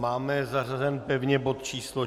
Máme zařazen pevně bod číslo